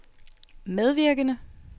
medvirkende